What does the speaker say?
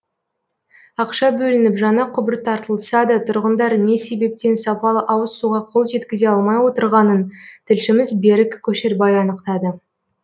ақша бөлініп жаңа құбыр тартылса да тұрғындар не себептен сапалы ауыз суға қол жеткізе алмай отырғанын тілшіміз берік көшербай анықтады